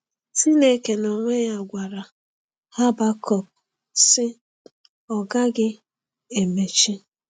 Chineke n’onwe ya gwara Habakọk, sị: “Ọ gaghị emechi!”